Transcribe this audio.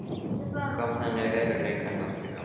Kom þannig veruleikanum aftur í gang.